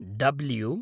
W